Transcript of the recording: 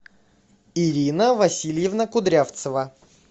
ирина васильевна кудрявцева